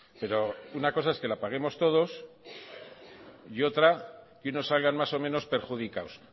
pero una cosa es que la paguemos todos y otra que unos salgan más o menos perjudicados